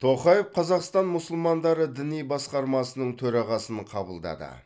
тоқаев қазақстан мұсылмандары діни басқармасының төрағасын қабылдады